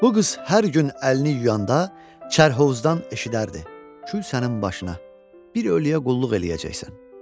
Bu qız hər gün əlini yuyanda çarhovuzdan eşidərdi: "Kül sənin başına, bir ölüyə qulluq eləyəcəksən".